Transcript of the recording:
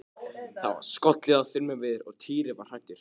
Það var skollið á þrumuveður og Týri var hræddur.